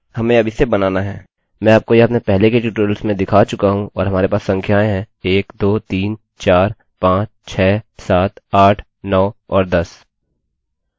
मैं आपको यह अपने पहले के ट्यूटोरियल्स में दिखा चुका हूँ और हमारे पास संख्याएँ हैं 1 2 3 4 5 6 7 8 9 और 10